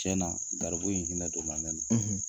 Tiɲɛna, garibu in hinɛ donna ne na, .